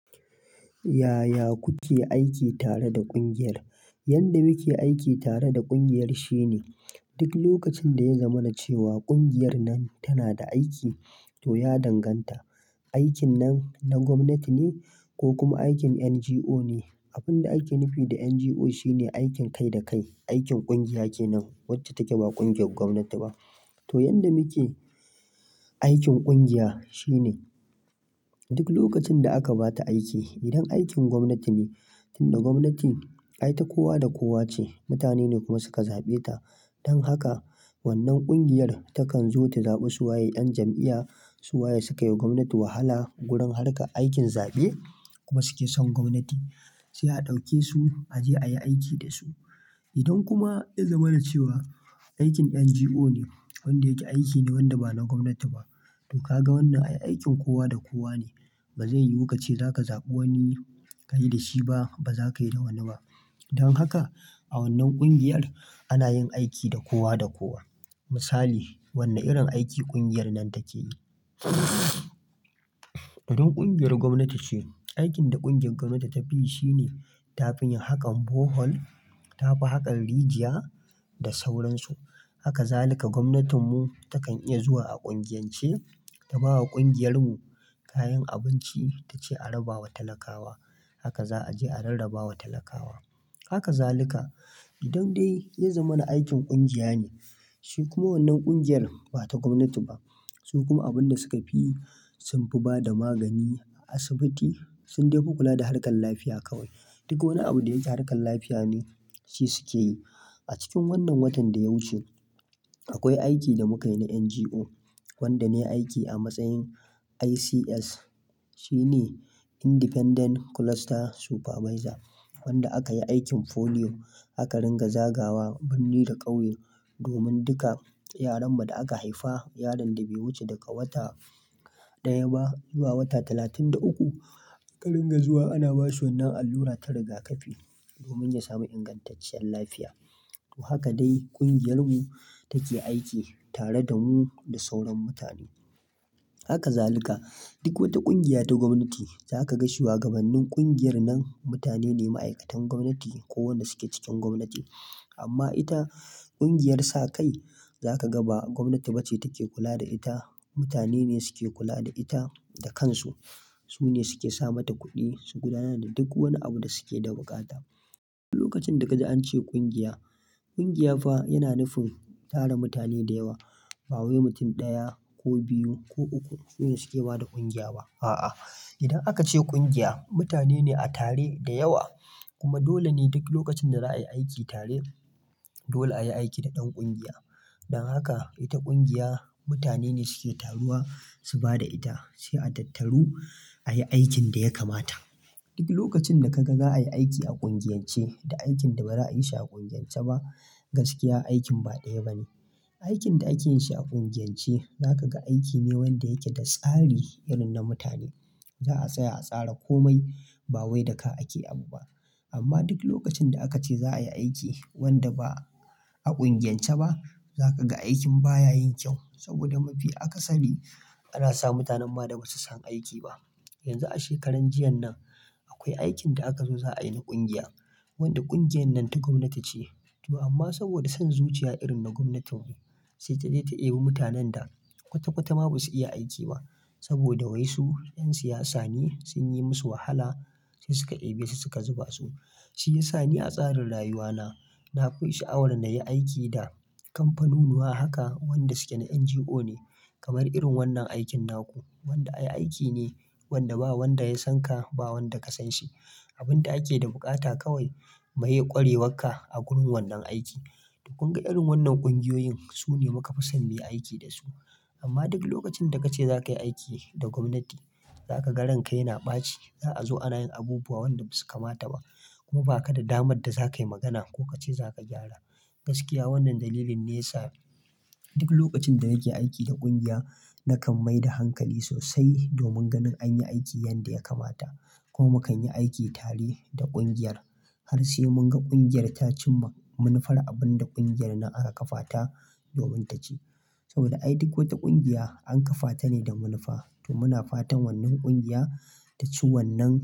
Yaya kuke aiki tare da ƙungiyar? Yanda muke aiki tare da ƙungiyar shine, duk lokacin da ya zama na cewa ƙungiyar nan tana da aiki to ya danganta, aikin nan na gwamnati ne ko kuma aikin NGO ne. Abin da ake nufi da NGO shine aikin kai da kai. Aikin ƙungiya ke nan, wacce take ba ƙungiyar gwamnati ba. To, yanda muke aikin ƙungiya shine duk lokacin da aka ba ta aiki, idan aikin gwamnati ne, tunda gwamnati ai ta kowa da kowa ce, mutane ne kuma suka zaɓe ta. Don haka wannan ƙungiyar takan zo ta zaɓi su waye 'yan jam'iya, su waye suka yi wa gwamnati wahala gurin harka aikin zaɓe kuma suke son gwamnati, sai a ɗauke su a je ayi aiki da su. Idan kuma ya zama na cewa aikin NGO ne, wanda yake aiki ne wanda ba na gwamnati ba. To ka ga wannan ai aikin kowa da kowa ne. Ba zai yiwu ka ce za ka zaɓi wani ka yi da shi ba, ba za ka yi da wani ba. Don haka a wannan ƙungiyar ana yin aiki da kowa da kowa. Misali, wane irin aiki ƙungiyar nan take yi? Irin ƙungiyar gwamnati ce. Aikin da ƙungiyar gwamnati ta fi yi shine ta fi yin hakan Borehole, ta fi hakan Rijya da sauransu. Haka zaluka gwamnatinmu takan iya zuwa a ƙungiyance ta ba wa ƙungiyar mu kayan abinci ta ce a raba wa talakawa. Haka za a je a rarraba wa talakawa. Haka zaluka. Idan dai ya zama na aikin ƙungiya ne, shi kuma wannan ƙungiyar ba ta gwamnati ba, su kuma abin da suka fi yi sun fi ba da magani a asibiti, sun dai fi kula da harkan lafiya kawai. Duk wani abu da yake harkar lafiya ne shi suke yi. A cikin wannan watan da ya wuce akwai aiki da muka yi na NGO, wanda ne aiki a matsayin ICS. Shi ne Independent Cluster Supervisor. Wanda aka yi aikin polio, aka ringa zagawa birni da ƙauye domin duka yaran mu da aka haifa, yaron da bai wuce daga wata ɗaya ba zuwa wata talatin da uku, aka ringa zuwa ana ba shi wannan allura ta riga kafi domin ya sami ingantacciyar lafiya. To haka dai ƙungiyar mu take aiki tare da mu da sauran mutane. Haka zaluka. Duk wata ƙungiya ta gwamnati za ka ga shugabannin ƙungiyar nan mutane ne, ma'aikatan gwamnati ko wanda suke cikin gwamnati. Amma ita ƙungiyar sakai za ka ga ba gwamnati bace take kula da ita, mutane ne suke kula da ita da kansu. Su ne suke sa mata kuɗi, su gudanar da duk wani abu da suke da bukata. Duk lokacin da ka ji an ce ƙungiya, ƙungiya fa yana nufin tara mutane da yawa, ba wai mutum ɗaya ko biyu ko uku su ne suke ba da ƙungiya ba. A'a. Idan aka ce ƙungiya, mutane ne a tare da yawa. Kuma dole ne duk lokacin da za a yi aiki tare, dole a yi aiki da ɗan ƙungiya. Don haka ita ƙungiya mutane ne suke taruwa su ba da ita, sai a tattaru ayi aikin da ya kamata. Duk lokacin da ka ga za a yi aiki a ƙungiyance da aikin da ba za a yi shi a ƙungiyance ba, gaskiya aikin ba ɗaya ba ne. Aikin da ake yin shi a ƙungiyance za ka ga aiki ne wanda yake da tsari irin na mutane. Za a tsaya a tsara komai ba wai da ka ake abu ba. Amma duk lokacin da aka ce za a yi aiki wanda ba a ƙungiyance ba, za ka ga aikin baya yin kyau saboda mafi akasani ana sa mutanen ma da ba su san aiki ba. Yanzu a shekaran jiyan nan akwai aikin da aka zo za a yi na ƙungiya, wanda ƙungiyar nan ta gwamnati ce. To amma saboda son zuciya irin na gwamnatin mu, sai ta je ta ɗebi mutanen da kwata-kwata ma ba su iya aiki ba saboda wai su 'yan siyasa ne sun yi musu wahala sai suka ɗebe su suka zuba su. Shi ya sa ni a tsarin rayuwa na, na koyi sha'awar na yi aiki da kamfanunuwa haka wanda suke na NGO ne. Kamar irin wannan aikin naku, wanda ai aiki ne wanda ba wanda ya san ka ba wanda ka san shi. Abin da ake da bukata kawai maye ƙwarewarka a gurin wannan aiki. Duk mun ga irin wannan ƙungiyoyin su ne muka fi son mu yi aiki da su. Amma duk lokacin da ka ce za ka yi aiki da gwamnati, za ka ga ranka yana ɓaci. Za a zo ana yin abubuwa wanda ba su kamata ba kuma ba ka da damar da za ka yi magana ko ka ce za ka gyara. Gaskiya wannan dalilin ne ya sa duk lokacin da nake aiki da ƙungiya, na kan mai da hankali sosai domin ganin anyi aiki yanda ya kamata. Kuma mu kan yi aiki tare da ƙungiyar har sai mun ga ƙungiyar ta cimma manufar abin da ƙungiyar na aka kafa ta domin ta ci. Saboda ai duk wata ƙungiya an kafa ta ne da manufa. To muna fatan wannan ƙungiya ta ci wannan.